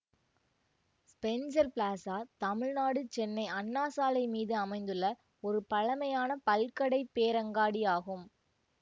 Spencer Plaza Tamil Nadu Chennai Anna Salai மீது அமைந்துள்ள ஒரு பழமையான பல்கடை பேரங்காடி ஆகும்